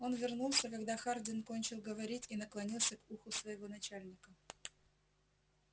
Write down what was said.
он вернулся когда хардин кончил говорить и наклонился к уху своего начальника